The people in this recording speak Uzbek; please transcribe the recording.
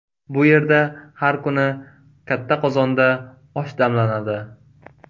Bu yerda har kuni katta qozonda osh damlanadi.